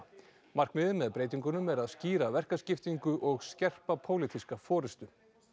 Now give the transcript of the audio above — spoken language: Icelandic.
markmiðið með breytingunum er að skýra verkaskiptingu og skerpa pólitíska forystu